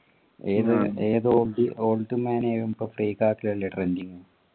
ഏത് ഏത് പ്പോ അല്ലെ trending